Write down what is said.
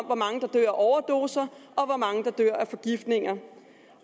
hvor mange der dør af overdoser og hvor mange der dør af forgiftninger